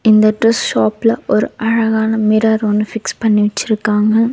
இந்த dress shop ல ஒரு அழகான மிரர் ஒண்ணு ஃபிக்ஸ் பண்ணி வச்சுருக்காங்க.